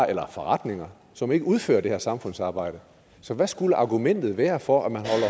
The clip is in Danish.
eller forretninger som ikke udfører det samfundsarbejde så hvad skulle argumentet været for at man